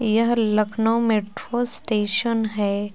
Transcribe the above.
यह Lucknow metro station है।